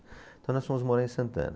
Então, nós fomos morar em Santana.